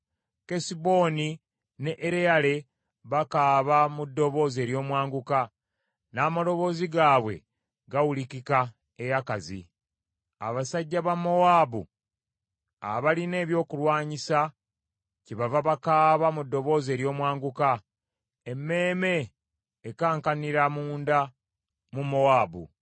Kesuboni ne Ereyale bakaaba mu ddoboozi ery’omwanguka, n’amaloboozi gaabwe gawulikika e Yakazi. Abasajja ba Mowaabu abalina ebyokulwanyisa kyebava bakaaba mu ddoboozi ery’omwanguka, emmeeme ekankanira munda mu Mowaabu.